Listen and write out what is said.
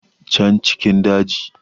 can cikin daji